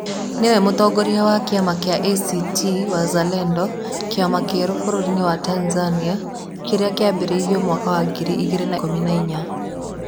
Nĩwe Mũtongoria wa kĩama kĩa ACT Wazalendo, kĩama kĩerũ bũrũri-inĩ wa Tanzania kĩrĩa kĩambĩrĩirio mwaka wa ngiri igĩrĩ na ikũmi na inya.